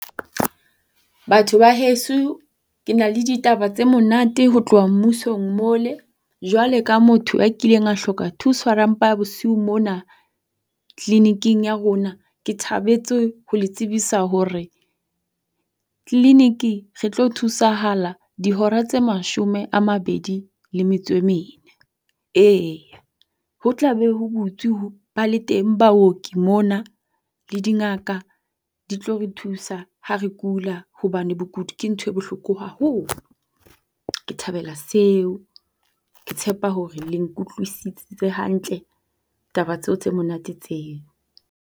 Batho ba heso. Ke na le ditaba tse monate ho tloha mmusong mole. Jwale ka motho a kileng a hloka thusa ha ra mpa bosiu mona tleleniking ya rona. Ke thabetse ho le tsebisa hore tleleniki re tlo thusahala dihora tse 24. Ee, ho tla be ho butswe ba le teng baoki mona le dingaka di tlo re thusa ha re kula hobane bokudi ke ntho e bohloko haholo. Ke thabela seo. Ke tshepa hore le nkutlwisitse hantle taba tseo tse monate tseo.